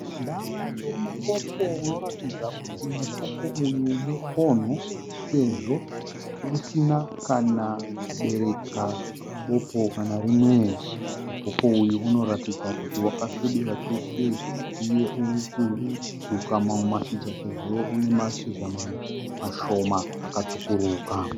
Davi remupopo unoratidza kuti mupopo uyu mukonho sezvo usina kana kubereka popo kana rimwe. Mupopo uyu unoratidza kuti wakasvibira chose uye uri kuzuka mamwe mashizha sezvo une mashizha mamwe mashoma akatsvukuruka.